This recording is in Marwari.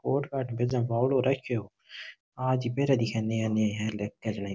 और काठ बेजा बावळो रखो आज पैरा दिखे है नया नया --